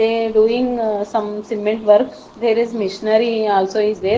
they doing uh some cement work there is michenery also is there.